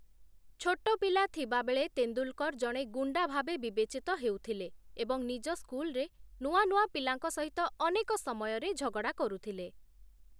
ଛୋଟ ପିଲା ଥିବାବେଳେ, ତେନ୍ଦୁଲ୍‌କର୍‌ ଜଣେ ଗୁଣ୍ଡା ଭାବେ ବିବେଚିତ ହେଉଥିଲେ ଏବଂ ନିଜ ସ୍କୁଲ୍‌ରେ ନୂଆ ନୂଆ ପିଲାଙ୍କ ସହିତ ଅନେକ ସମୟରେ ଝଗଡ଼ା କରୁଥିଲେ ।